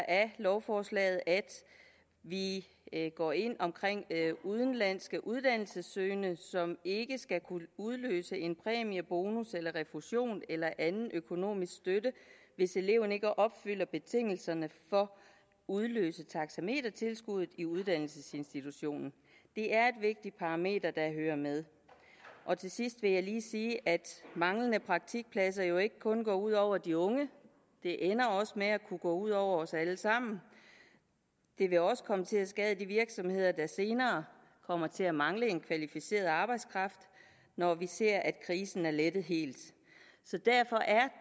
af lovforslaget at vi går ind omkring udenlandske uddannelsessøgende som ikke skal kunne udløse en præmie bonus eller refusion eller anden økonomisk støtte hvis eleverne ikke opfylder betingelserne for at udløse taxametertilskuddet i uddannelsesinstitutionen det er et vigtigt parameter der hører med til sidst vil jeg lige sige at manglende praktikpladser jo ikke kun går ud over de unge det ender også med at kunne gå ud over os alle sammen det vil også komme til at skade de virksomheder der senere kommer til at mangle en kvalificeret arbejdskraft når vi ser at krisen er lettet helt så derfor er